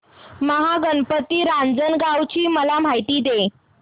महागणपती रांजणगाव ची मला माहिती दे